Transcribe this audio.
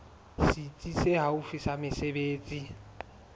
setsi se haufi sa mesebetsi